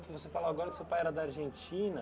Você falou agora que o seu pai era da Argentina.